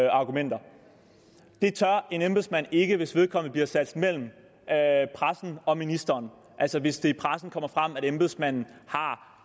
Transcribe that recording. argumenter det tør en embedsmand ikke hvis vedkommende bliver sat mellem pressen og ministeren altså hvis det i pressen kommer frem at embedsmanden har